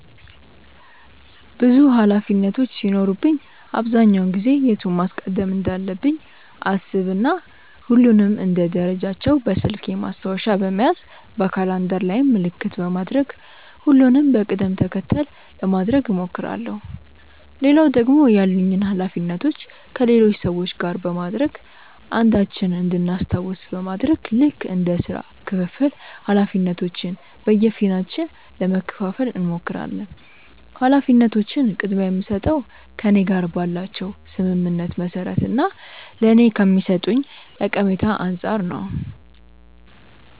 ብዙ ኃላፊነቶች ሲኖሩብኝ አብዛኛውን ጊዜ የቱን ማስቀደም እንዳለብኝ አሰብ እና ሁሉንም እንደ ደረጃቸው በስልኬ ማስታወሻ በመያዝ በካላንደር ላይም ምልክት በማድረግ ሁሉንም በቅድም ተከተል ለማድረግ እሞክራለው። ሌላው ደግሞ ያሉኝን ኃላፊነቶች ከሌሎች ሰዎች ጋር በማድረግ አንዳችን እንድናስታውስ በማድረግ ልክ እንደ ስራ ክፍፍል ኃላፊነቶችን በየፊናችን ለመከፈፋል እንሞክራለን። ኃላፊነቶችን ቅድምያ የምስጠው ከእኔ ጋር ባላቸው ስምምነት መሰረት እና ለኔ ከሚሰጡኝ ጠቀሜታ አንፃር ነው።